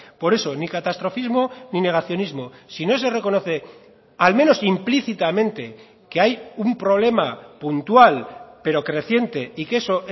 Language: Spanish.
por eso ni catastrofismo ni negacionismo si no se reconoce al menos implícitamente que hay un problema puntual pero creciente y que eso